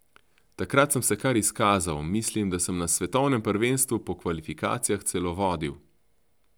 Takrat sem se kar izkazal, mislim, da sem na svetovnem prvenstvu po kvalifikacijah celo vodil.